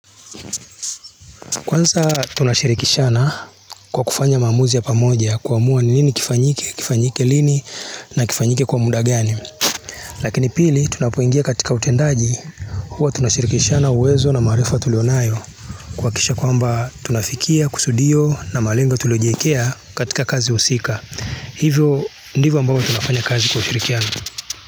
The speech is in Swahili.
Kwanza tunashirikishana kwa kufanya maamuzi ya pamoja. Kuamua nini kifanyike kifanyike, lini na kifanyike kwa muda gani. Lakini pili, tunapuingia katika utendaji. Huwa tunashirikishana uwezo na maarifa tulionayo, kuhakikisha kwamba, tunafikia kusudio na malenga tuliojiwekea katika kazi usika. Hivyo, ndivyo ambavyo tunafanya kazi kwa ushirikiano.